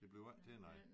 Det bliver ikke til noget